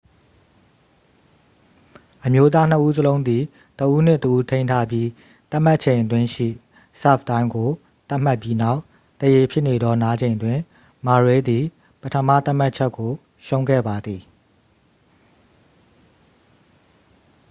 """အမျိုးသားနှစ်ဦးစလုံးသည် တစ်ဦးနှင့်တစ်ဦးထိန်းထားပြီး သတ်မှတ်ချက်အတွင်းရှိ ဆာ့ဗ်တိုင်းကို သတ်မှတ်ပြီးနောက် သရေဖြစ်နေသောနားချိန်တွင် murray သည် ပထမသတ်မှတ်ချက်ကို ရှုံးခဲ့ပါသည်။""